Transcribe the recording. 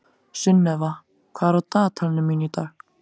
Sunnefa, hvað er á dagatalinu mínu í dag?